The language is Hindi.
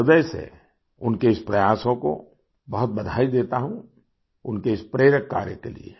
मैं हृदय से उनके इस प्रयासों को बहुत बधाई देता हूँ उनके इस प्रेरक कार्य के लिए